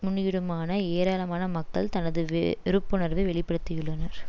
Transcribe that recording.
முன்னிடுமான ஏராளமான மக்கள் தமது வெறுப்புணர்வை வெளி படுத்தியுள்ளனர்